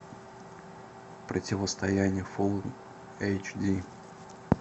противостояние фулл эйч ди